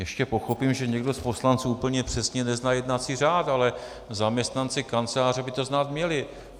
Ještě pochopím, že někdo z poslanců úplně přesně nezná jednací řád, ale zaměstnanci Kanceláře by to znát měli.